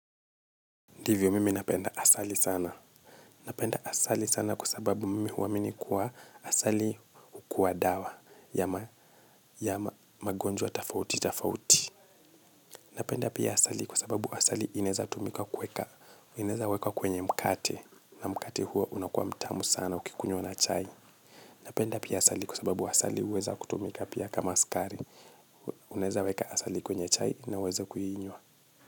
Ndivyo mimi napenda asali sana. Napenda asali sana kwa sababu mimi huamini kwamba asali hukuwa dawa ya magonjwa tofauti tofauti. Napenda pia asali kwa sababu asali inaeza tumika kuweka. Inaeza wekwa kwenye mkate na mkate huo unakuwa mtamu sana ukikunywa na chai. Napenda pia asali kwa sababu asali huweza kutumika pia kama sukari. Unaeza weka asali kwenye chai unaweza kuinywa.